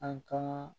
An ka